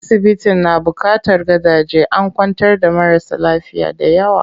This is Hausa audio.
Asibitin na buƙatar gadaje, an kwantar da marasa lafiya dayawa.